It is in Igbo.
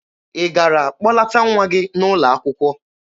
Ị gara kpọlata nwa gị n'ụlọ akwụkwọ?